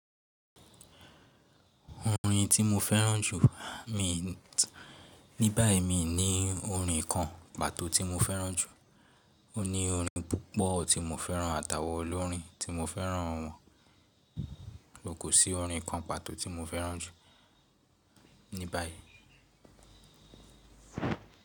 Orin tí mo fẹ́ràn jù ní báyìí mi ní orin kan pàtó tí mo fẹ́ràn jù. Ó ní orin púpọ̀ tí mo fẹ́ràn àtàwọ̀n olórin tí mo fẹ́ràn wọ́n. Kò sí orin kan pàtó tí mo fẹ́ràn jù ní báyìí.